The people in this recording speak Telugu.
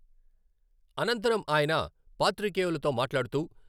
అనంతరం ఆయన పాత్రికేయులతో మాట్లాడుతూ...